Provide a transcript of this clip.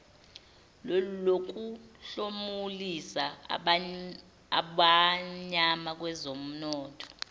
lokuhlomulisa abamnyama kwezomnotho